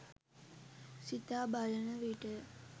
සිතා බලන විටය.